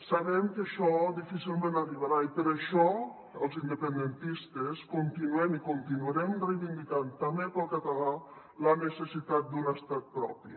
sabem que això difícilment arribarà i per això els independentistes continuem i continuarem reivindicant també per al català la necessitat d’un estat propi